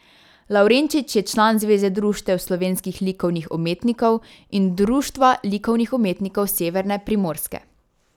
Lavrenčič je član Zveze društev slovenskih likovnih umetnikov in Društva likovnih umetnikov Severne Primorske.